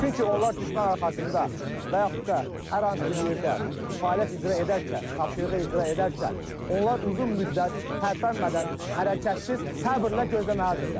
Çünki onlar düşmən arxasında və yaxud da hər hansı bir yerdə fəaliyyət icra edərkən, tapşırığı icra edərkən onlar uzun müddət tərpənmədən, hərəkətsiz, səbirlə gözləməlidirlər.